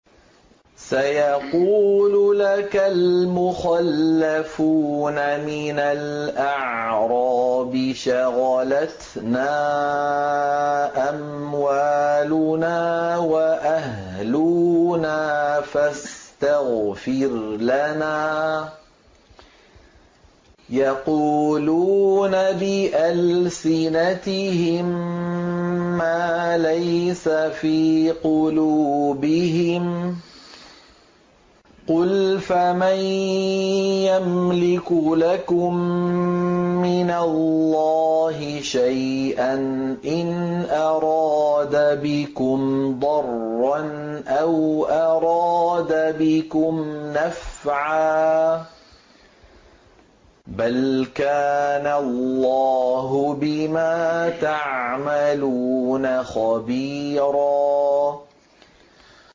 سَيَقُولُ لَكَ الْمُخَلَّفُونَ مِنَ الْأَعْرَابِ شَغَلَتْنَا أَمْوَالُنَا وَأَهْلُونَا فَاسْتَغْفِرْ لَنَا ۚ يَقُولُونَ بِأَلْسِنَتِهِم مَّا لَيْسَ فِي قُلُوبِهِمْ ۚ قُلْ فَمَن يَمْلِكُ لَكُم مِّنَ اللَّهِ شَيْئًا إِنْ أَرَادَ بِكُمْ ضَرًّا أَوْ أَرَادَ بِكُمْ نَفْعًا ۚ بَلْ كَانَ اللَّهُ بِمَا تَعْمَلُونَ خَبِيرًا